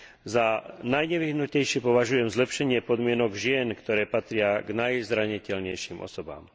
Za najnevyhnutnejšie považujem zlepšenie podmienok žien, ktoré patria k najzraniteľnejším osobám.